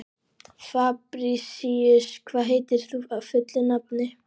Fabrisíus, hvað heitir þú fullu nafni?